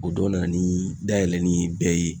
O dɔw nana ni dayɛlɛli bɛɛ ye